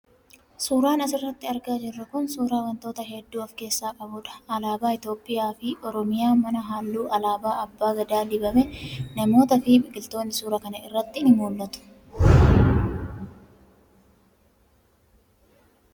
Suuraan as irratti argaa jirru kun suuraa wantoota hedduu of keessaa qabuu dha. Alaabaa Itoophiyaa fi Oromiyaa, mana halluu alaabaa abbaa gadaa dibame, namootaa fi biqiltoonni suuraa kana irratti ni mul'atu.